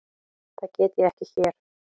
Það get ég ekki hér.